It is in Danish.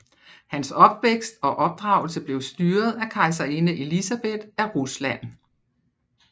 Hans opvækst og opdragelse blev styret af kejserinde Elisabeth af Rusland